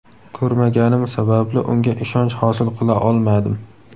Ko‘rmaganim sababli unga ishonch hosil qila olmadim.